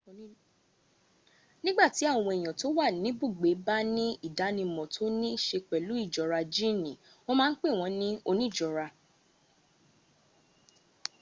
nígbàtí àwọn èèyàn tó wà níbùgbé bá ní ìdánimọ̀ to ní í se pẹ̀lú ìjọra jíìnì wọ́n má ń pèwọ́n ní oníjọra